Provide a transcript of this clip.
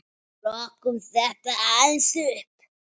Rokkum þetta aðeins upp!